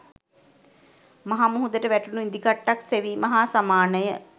මහ මුහුදට වැටුණු ඉදිකට්ටක් සෙවීම හා සමානය